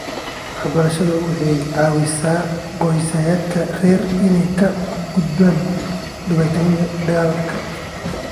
Waxbarashadu waxay caawisaa qoysaska rer inay ka gudbaan dhibaatooyinka dhaqaale.